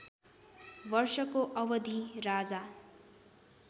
वर्षको अवधि राजा